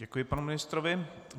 Děkuji panu ministrovi.